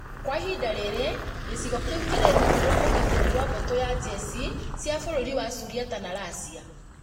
Kwa ihinda rĩrĩ gĩcigo kĩu kĩrĩ rungu rwa ũgitĩri rwa mbũtũ ya njeshi cia Bũrũri wa Suriata na Russia